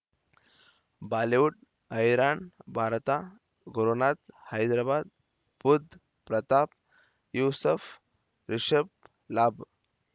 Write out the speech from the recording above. Bollywood ಹೈರಾಣ್ ಭಾರತ ಗುರುನಾಥ ಹೈದರಾಬಾದ್ ಬುಧ್ ಪ್ರತಾಪ್ ಯೂಸುಫ್ ರಿಷಬ್ ಲಾಭ